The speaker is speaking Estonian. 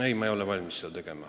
Ei, ma ei ole valmis seda tegema.